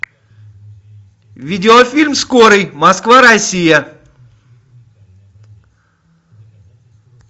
видеофильм скорый москва россия